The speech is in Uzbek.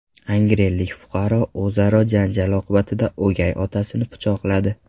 Angrenlik fuqaro o‘zaro janjal oqibatida o‘gay otasini pichoqladi.